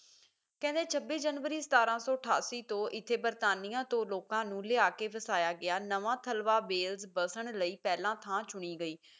ਕਹਿੰਦੇ ਛੱਬੀ ਜਨਵਰੀ ਸਤਾਰਾਂ ਸੌ ਅਠਾਸੀ ਤੋਂ ਇੱਥੇ ਬਰਤਾਨੀਆਂ ਤੋਂ ਲੋਕਾਂ ਨੂੰ ਲਿਆ ਕੇ ਵਸਾਇਆ ਗਿਆ ਨਵਾਂ ਥਲਵਾ ਬੇਲਸ ਵਸਣ ਲਈ ਪਹਿਲਾਂ ਥਾਂ ਚੁਣੀ ਗਈ